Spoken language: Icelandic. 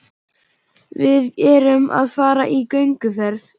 Við erum að fara í gönguferð.